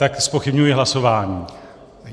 Tak zpochybňuji hlasování.